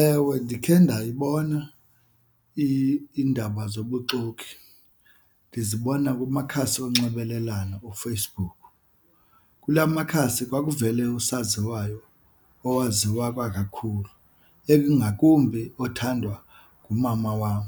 Ewe, ndikhe ndayibona iindaba zobuxoki, ndizibona kumakhasi onxibelelwano uFacebook. Kula makhasi kwakuvele usaziwayo owaziswa kakhulu ngakumbi othandwa ngumama wam.